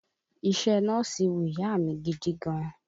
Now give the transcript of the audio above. Iṣẹ́ nọ́ọ̀sì wu ìyá a mi gidi gan